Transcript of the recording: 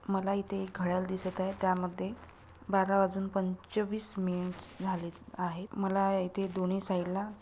मला इथे एक घड्याळ दिसत आहे. त्यामध्ये बारा वाजून पंचवीस मिनीट्स झालेत आहेत मला इथे दोन्ही साइड ला--